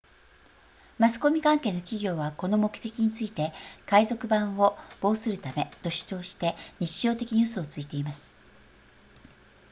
マスコミ関係の企業はこの目的について海賊版を防するためと主張して日常的に嘘をついています